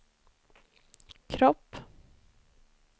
kropp